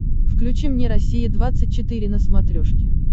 включи мне россия двадцать четыре на смотрешке